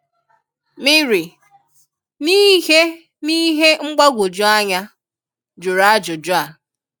Mịrị, n’ihe n’ihe mgbagwoju anya, jụrụ ajụjụ a.